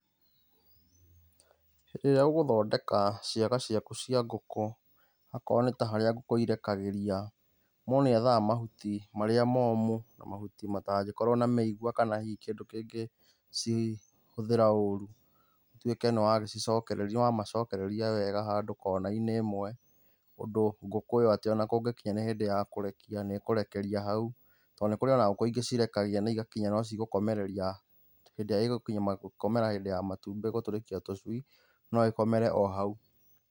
Hĩndi ĩrĩa ũgũthondeka ciaga ciaku cia ngũkũ, okorwo nĩ ta harĩa ngũkũ irekagĩria, mũndũ nĩ ethaga mahuti marĩa momũ, mahuti matangĩkorwo na mĩigua kana hihi kĩndũ kĩngĩ cihũthĩra ũru. Ũtuĩke nĩ wa macokereria wega handũ kona-inĩ ĩmwe, ũndũ ngũkũ ĩyo atĩ ona kũngĩkinya nĩ hĩndĩ ya kũrekia nĩ ĩkũrekeria hau. Tondũ ona nĩ kũrĩ ngũkũ ingĩ cirekagia na igakinya no cigũkomereria, hĩdĩ ĩria igũkinya gũkomera hĩndĩ ya matumbĩ gũturĩkia tũcui, no ikomere o hau.